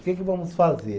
O que que vamos fazer?